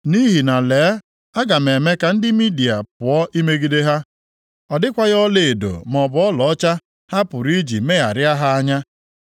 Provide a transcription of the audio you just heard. Nʼihi na lee, aga m eme ka ndị Midia pụọ imegide ha; ọ dịkwaghị ọlaedo maọbụ ọlaọcha ha pụrụ iji megharịa ha anya.